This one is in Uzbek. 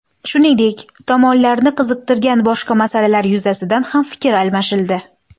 Shuningdek, tomonlarni qiziqtirgan boshqa masalalar yuzasidan ham fikr almashildi.